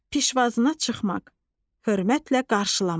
Pişvazına çıxmaq: Hörmətlə qarşılamaq.